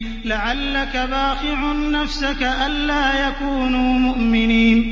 لَعَلَّكَ بَاخِعٌ نَّفْسَكَ أَلَّا يَكُونُوا مُؤْمِنِينَ